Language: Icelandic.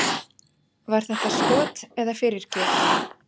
Var þetta skot eða fyrirgjöf?